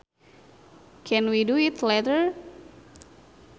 Can we do it later